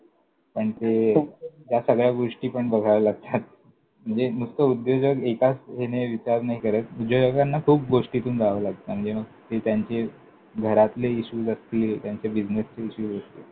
त्यांचे ह्या सगळ्या गोष्टी पण बघाव्या लागतात. म्हणजे नुसतं उद्योजक एकाच ह्याने विचार नाही करत, उद्योजकांना खूप गोष्टींतून जावं लागतं. म्हणजे मग ते त्यांचे घरातले issues असतील, त्यांचे बिझनेसचे issues असतील.